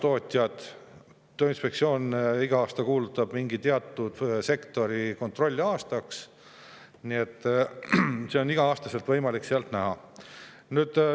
Tööinspektsioon kuulutab iga aasta mingi teatud sektori kontrollimise aastaks, nii et seda on iga aasta võimalik sealt näha.